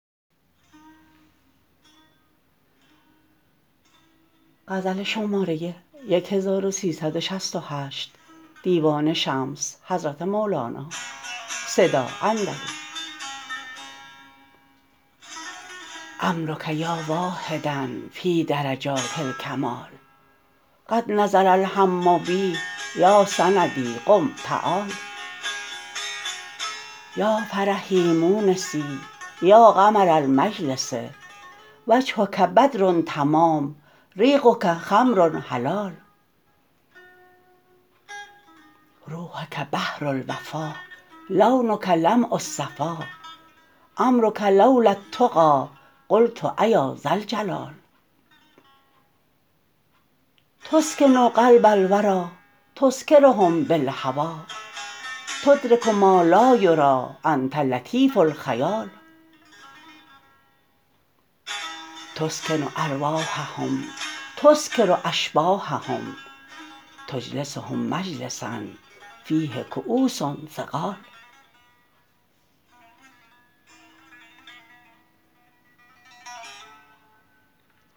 عمرک یا واحدا فی درجات الکمال قد نزل الهم بی یا سندی قم تعال یا فرحی مونسی یا قمر المجلس وجهک بدر تمام ریقک خمر حلال روحک بحر الوفا لونک لمع الصفا عمرک لو لا التقی قلت ایا ذا الجلال تسکن قلب الوری تسکرهم بالهوی تدرک ما لا یری انت لطیف الخیال تسکن ارواحهم تسکر اشباحهم تجلسهم مجلسا فیه کؤوس ثقال